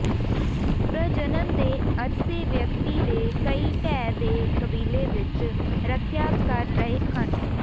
ਪ੍ਰਜਨਨ ਦੇ ਅਰਸੇ ਵਿਅਕਤੀ ਦੇ ਕਈ ਦਹਿ ਦੇ ਕਬੀਲੇ ਵਿਚ ਰੱਖਿਆ ਕਰ ਰਹੇ ਹਨ ਹੈ